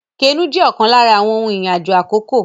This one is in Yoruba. Kénu jẹ́ ọ̀kan lára àwọn ohun ìrìn àjò àkókò